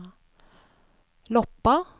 Loppa